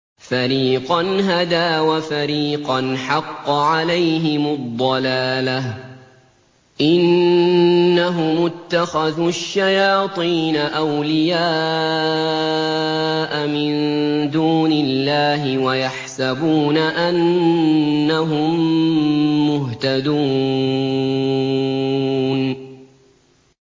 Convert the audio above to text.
فَرِيقًا هَدَىٰ وَفَرِيقًا حَقَّ عَلَيْهِمُ الضَّلَالَةُ ۗ إِنَّهُمُ اتَّخَذُوا الشَّيَاطِينَ أَوْلِيَاءَ مِن دُونِ اللَّهِ وَيَحْسَبُونَ أَنَّهُم مُّهْتَدُونَ